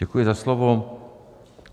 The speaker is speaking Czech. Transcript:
Děkuji za slovo.